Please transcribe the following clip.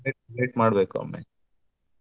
ಮಾಡ್ಬೇಕು ಒಮ್ಮೆ.